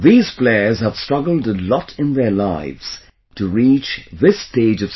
These players have struggled a lot in their lives to reach this stage of success